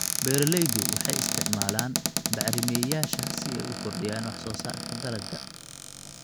Beeraleydu waxay isticmaalaan bacrimiyeyaasha si ay u kordhiyaan wax soo saarka dalagga.